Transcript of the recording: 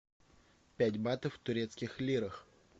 пять батов в турецких лирах